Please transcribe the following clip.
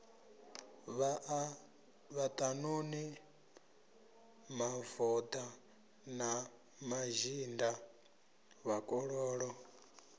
vhaṱanuni mavoḓa na mazhinda vhakololo